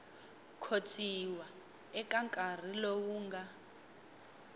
khotsiwa eka nkarhi lowu nga